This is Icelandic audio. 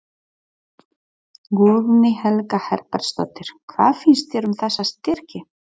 Guðný Helga Herbertsdóttir: Hvað finnst þér um þessa styrki?